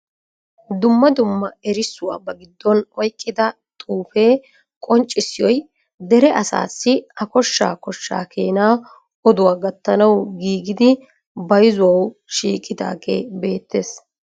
Dumma dumma erissuwaa ba giddon oyqqida xuufawe qonccissoy dere asassi a koshsha koshsha keena oduwaa gatanaw giigidi bayzzuwaw shiiqidaage beettees.